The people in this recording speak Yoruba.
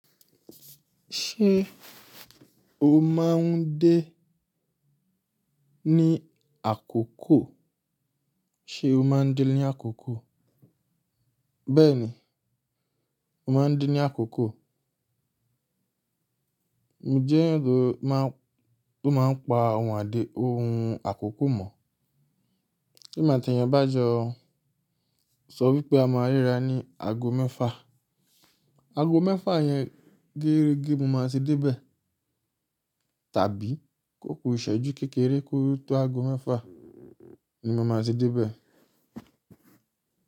Ṣé o máa ń dé ní àkókò? Ṣe o máa ń dé ní àkókò? Bẹ́ẹ̀ni, mo máa ń dé ní àkókò. Mo jẹ́ ẹeyan tó máa ń pa ohun àdéhun àkókò mọ̀? Tí emí tí ẹeyan bá jọ sọ wípé a máa ri ra ní ago mẹ́fa, ago mẹ́fa yẹn geeregẹ́ mo máa ti dé bẹ́ẹ̀ tàbí kókò ìsẹ́jú kékeré ko tó aago mẹ́fa ni mo máa ti dé bẹ́ẹ̀